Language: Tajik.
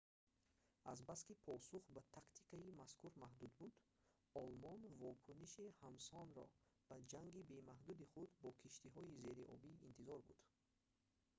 азбаски посух ба тактикаи мазкур маҳдуд буд олмон вокуниши ҳамсонро ба ҷанги бемаҳдуди худ бо киштиҳои зериобӣ интизор буд